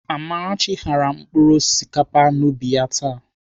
Amarachi ghara mkpụrụ osikapa n'ubi ya taa.